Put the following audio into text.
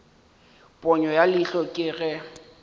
ponyo ya leihlo ke ge